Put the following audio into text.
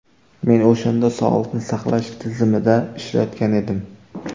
Men o‘shanda sog‘liqni saqlash tizimida ishlayotgan edim.